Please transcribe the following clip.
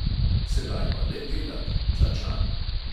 "Sedaj pa le delat – tlačani!"